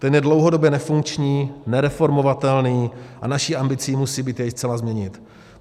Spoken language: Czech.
Ten je dlouhodobě nefunkční, nereformovatelný a naší ambicí musí být jej zcela změnit.